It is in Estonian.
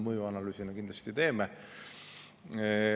Mõjuanalüüsi me kindlasti teeme.